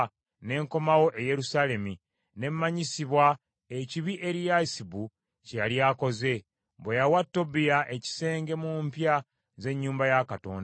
ne nkomawo e Yerusaalemi, ne manyisibwa ekibi Eriyasibu kye yali akoze, bwe yawa Tobiya ekisenge mu mpya z’ennyumba ya Katonda.